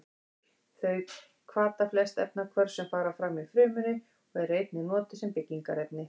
Þau hvata flest efnahvörf sem fram fara í frumunni og eru einnig notuð sem byggingarefni.